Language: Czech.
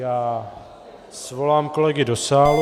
Já svolám kolegy do sálu.